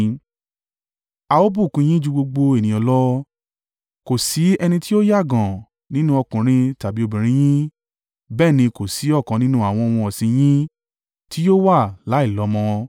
A ó bùkún un yín ju gbogbo ènìyàn lọ, kò sí ẹni tí yóò yàgàn nínú ọkùnrin tàbí obìnrin yín, bẹ́ẹ̀ ni kò sí ọ̀kan nínú àwọn ohun ọ̀sìn in yín tí yóò wà láìlọ́mọ.